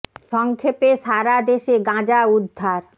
স ং ক্ষে পে সা রা দে শ গাঁজা উদ্ধার